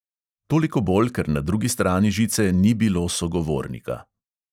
Toliko bolj, ker na drugi strani žice ni bilo sogovornika.